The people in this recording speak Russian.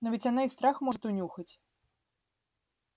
но ведь она и страх может унюхать